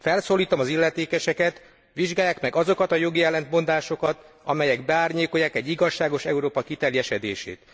Felszólítom az illetékeseket, vizsgálják meg azokat a jogi ellentmondásokat, amelyek beárnyékolják egy igazságos Európa kiteljesedését.